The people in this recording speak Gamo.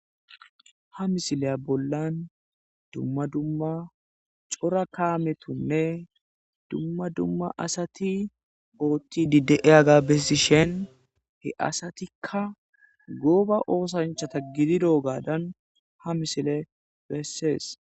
Ha misiliya bollan dumma dumma cora kaamethinne dumma dumma asathi ooththiiddi de7iyagaa bessishen he asathikka gooba oosanchchatha gidiroogaaran ha misilee bessees.